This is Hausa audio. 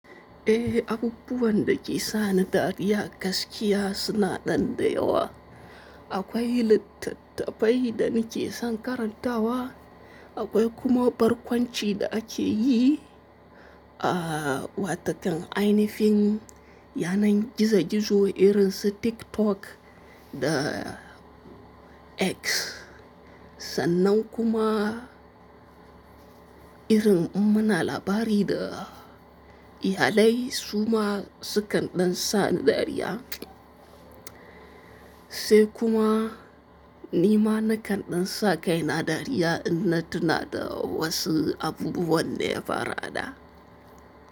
Eh, abubuwan da ke sa ni dariya gaskiya suna nan dayawa. Akwai littattafai da nake son karantawa, akwai kuma barkwanci da ake yi a watakan ainihin, yanar gizo-gizo irin su TikTok da X. Sannan kuma irin in muna labari da iyalai su ma su kan ɗan sa ni dariya. Sai kuma ni ma na kan ɗan sa kaina dariya idan na tuna da wasu abubuwan da ya faru a da.